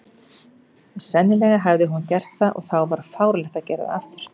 Sennilega hafði hún gert það, og þá var fáránlegt að gera það aftur.